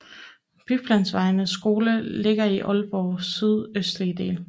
Byplanvejens skole ligger i Aalborgs sydøstlige del